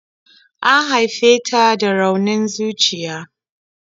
An haife ta da raunin zuciya.